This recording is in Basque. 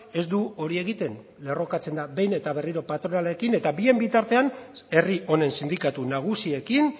ez du hori egiten lerrokatzen da behin eta berriro patronalarekin eta bien bitartean herri honen sindikatu nagusiekin